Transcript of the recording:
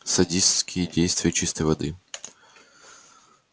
садистские действия чистой воды